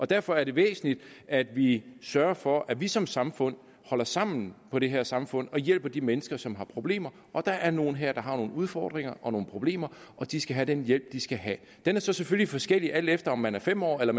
derfor er det væsentligt at vi sørger for at vi som samfund holder sammen på det her samfund og hjælper de mennesker som har problemer og der er nogle her som har nogle udfordringer og nogle problemer og de skal have den hjælp de skal have den er så selvfølgelig forskellig alt efter om man er fem år eller